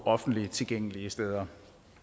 offentligt tilgængelige steder